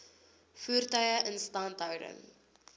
voertuie instandhouding